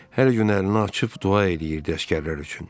Hər gün əlini açıb dua eləyirdi əsgərlər üçün.